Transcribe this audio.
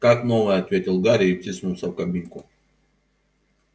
как новая ответил гарри и втиснулся в кабинку